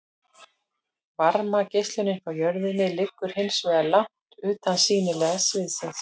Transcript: Varmageislunin frá jörðinni liggur hins vegar langt utan sýnilega sviðsins.